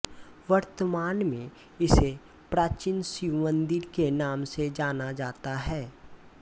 वर्तमान में इसे प्राचीन शिव मंदिर के नाम से जाना जाता है